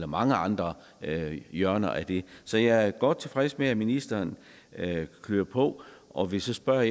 mange andre hjørner af det så jeg er godt tilfreds med at ministeren kører på og vil så spørge